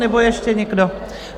Nebo ještě někdo?